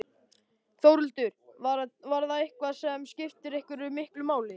Þórhildur: Var það eitthvað sem skipti eitthvað miklu máli?